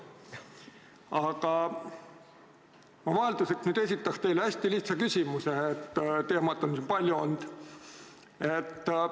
Aga ma vahelduseks nüüd esitan teile hästi lihtsa küsimuse – teemasid on siin palju olnud.